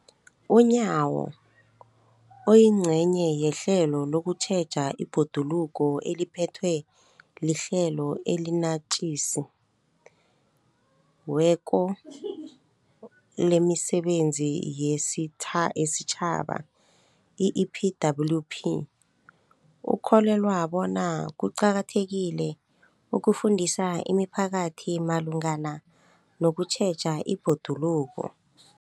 UNyawo, oyingcenye yehlelo lokutjheja ibhoduluko eliphethwe liHlelo eliNatjisi weko lemiSebenzi yesiTjhaba, i-EPWP, ukholelwa bona kuqakathekile ukufundisa imiphakathi malungana nokutjheja ibhoduluko.